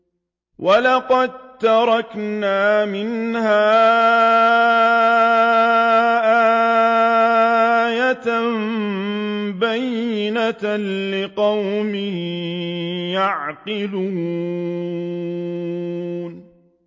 وَلَقَد تَّرَكْنَا مِنْهَا آيَةً بَيِّنَةً لِّقَوْمٍ يَعْقِلُونَ